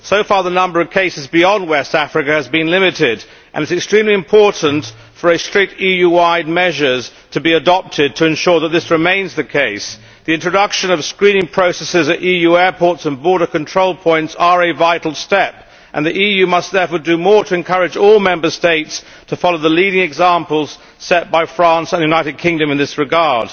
So far the number of cases beyond West Africa has been limited and it is extremely important for strict EU wide measures to be adopted to ensure that this remains the case. The introduction of screening processes at EU airports and border control points is a vital step and the EU must therefore do more to encourage all Member States to follow the leading examples set by France and the United Kingdom in this regard.